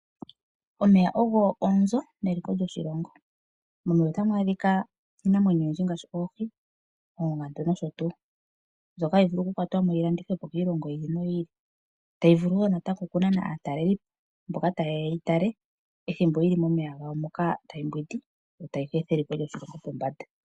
Omeya ogo onzo neliko lyoshilongo. Momeya otamu adhika iinamwenyo oyindji ngaashi oohi, oongandu nosho tuu mbyoka hayi vulu oku kwatwamo yi landithwepo kiilongo yimwe yi ili, tayi vulu natango oku nana aatalelipo mboka taye ya yeyi tale ethimbo yili momeya gawo moka tayi mbwindi yo tayi eta eliko lyoshilongo pombanda.